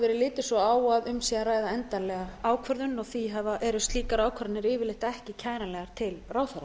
verið litið svo á að um sé að ræða endanlega ákvörðun og því eru slíkar ákvarðanir yfirleitt ekki kæranlegar til ráðherra